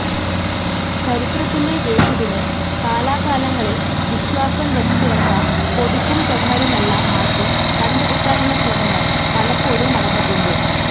ചരിത്രത്തിലെ യേശുവിനെ, കാലാകാലങ്ങളിൽ വിശ്വാസം വച്ചുചേർത്ത പൊടിപ്പും തൊങ്ങലുമെല്ലാം മാറ്റി, കണ്ടെടുക്കാനുള്ള ശ്രമങ്ങൾ പലപ്പോഴും നടന്നിട്ടുണ്ട്.